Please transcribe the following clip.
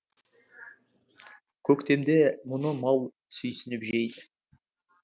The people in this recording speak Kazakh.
көктемде мұны мал сүйсініп жейді